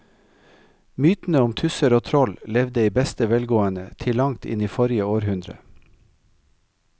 Mytene om tusser og troll levde i beste velgående til langt inn i forrige århundre.